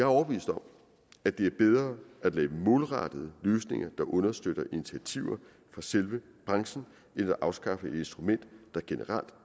overbevist om at det er bedre at lave målrettede løsninger der understøtter initiativer fra selve branchen end at afskaffe et instrument der generelt